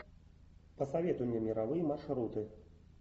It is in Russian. посоветуй мне мировые маршруты